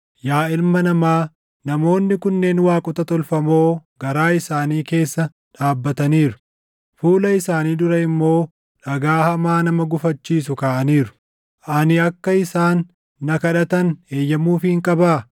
“Yaa ilma namaa, namoonni kunneen waaqota tolfamoo garaa isaanii keessa dhaabbataniiru; fuula isaanii dura immoo dhagaa hamaa nama gufachiisu kaaʼaniiru. Ani akka isaan na kadhatan eeyyamuufiin qabaa?